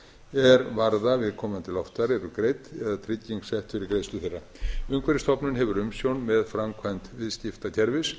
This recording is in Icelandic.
er varða viðkomandi loftfar eru greidd eða trygging sett fyrir greiðslu þeirra umhverfisstofnun hefur umsjón með framkvæmd viðskiptakerfis